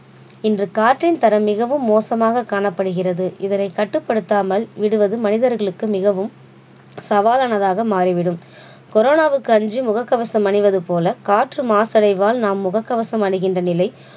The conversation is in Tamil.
இன்று காற்றின் தரம் மிகவும் மோசமாக காணப்படுகிறது இதனை கட்டுபடுத்தாமல் விடுவது மனிதர்களுக்கு மிகவும் சாவாலானதாக மாறிவிடும் corona வுக்கு அஞ்சி முகக்கவசம் அணிவது போல காற்று மாசடைவால் நாம் முகக்கவசம் அணிகின்ற நிலை